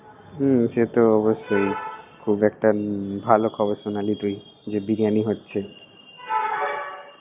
হমম, সে তো অবশ্যই । খুব একটা ভালো খবর শোনালি তুই যে, বিরিয়ানী হচ্ছে।